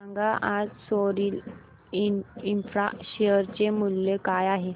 सांगा आज सोरिल इंफ्रा शेअर चे मूल्य काय आहे